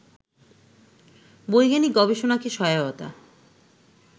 বৈজ্ঞানিক গবেষণাকে সহায়তা